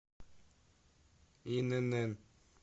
инн